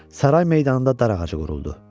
Saray meydanında dar ağacı quruldu.